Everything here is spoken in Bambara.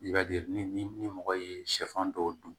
I b'a ye ni ni mɔgɔ ye sɛfan dɔw dun